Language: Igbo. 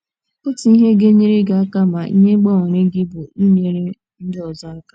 Otu ihe ga - enyere gị aka ma ihe gbanweere gị bụ inyere ndị ọzọ aka.